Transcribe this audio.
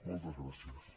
moltes gràcies